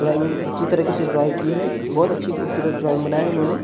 Drawing बहुत अच्छी तरह से ड्राय की है बहुत खूबसूरत ड्राइंग बनाई है उन्होंने ।